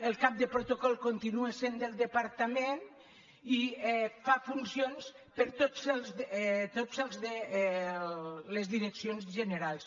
el cap de protocol con·tinua sent del departament i fa funcions per a totes les direccions generals